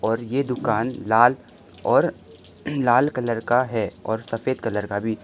और ये दुकान लाल और लाल कलर का है और सफेद कलर का भी।